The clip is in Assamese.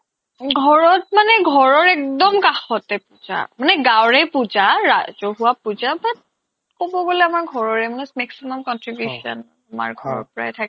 ঘৰত মানে ঘৰৰ একদম কাষতে পূজা মানে গাঁৱৰে পূজা ৰাজহুৱা পূজা but ক'ব গ'লে আমাৰ ঘৰৰে মানে maximum contribution আমাৰ ঘৰৰ পৰাই থাকে আৰু